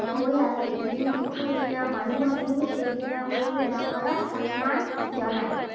হৈ আছে। বিহুৰ দ্বিতীয় দিনা মানুহ বিহু। সেইদিনা সৰুৱে ডাঙৰক সন্মান জনায়।